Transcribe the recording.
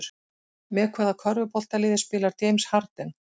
Með hvaða körfuboltaliði spilar James Harden?